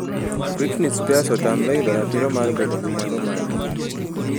Britney Spears otamre yudo ratiro mar bedo gi mwandu mage.